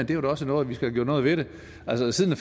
gjort noget ved altså siden